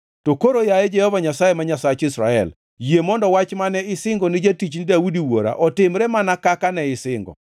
To koro, yaye Jehova Nyasaye ma Nyasach Israel yie mondo wach mane isingo ni jatichni Daudi wuora otimre mana kaka ne isingo.